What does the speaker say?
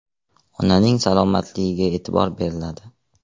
Onaning salomatligiga e’tibor beriladi.